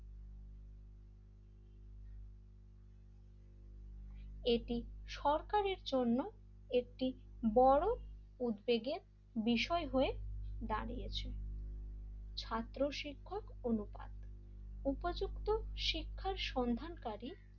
এটি সরকারের জন্য একটি বড় উদ্বেগের বিষয় হয়ে দাঁড়িয়েছে ছাত্র-শিক্ষক অনুপাত উপযুক্ত শিক্ষার সন্ধান কারি,